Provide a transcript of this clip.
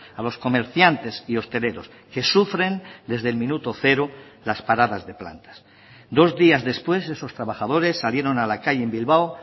a los comerciantes y hosteleros que sufren desde el minuto cero las paradas de plantas dos días después esos trabajadores salieron a la calle en bilbao